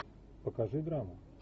покажи драму